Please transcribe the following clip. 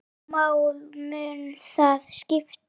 Hvaða máli mun það skipta?